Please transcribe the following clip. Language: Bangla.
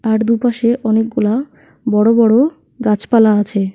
আর দুপাশে অনেকগুলা বড় বড় গাছপালা আছে।